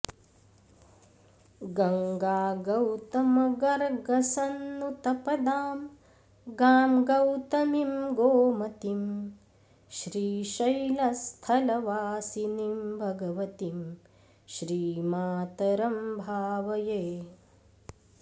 गङ्गागौतमगर्गसन्नुतपदां गां गौतमीं गोमतीं श्रीशैलस्थलवासिनीं भगवतीं श्रीमातरं भावये